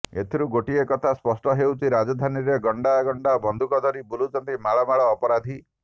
ଏଥିରୁ ଗୋଟିଏ କଥା ସ୍ପଷ୍ଟ ହେଉଛି ରାଜଧାନୀରେ ଗଣ୍ଡା ଗଣ୍ଡା ବନ୍ଧୁକ ଧରି ବୁଲୁଛନ୍ତି ମାଳ ମାଳ ଅପରାଧୀ